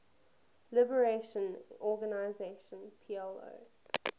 liberation organization plo